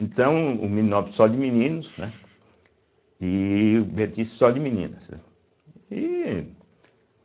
Então, o Meninópolis só de meninos né e o Bertice só de meninas, aí